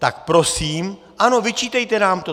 Tak prosím, ano, vyčítejte nám to.